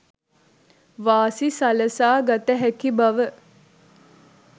වාසි සලසා ගත හැකි බව